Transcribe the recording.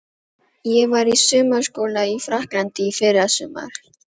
Ég var í sumarskóla í Frakklandi í fyrrasumar.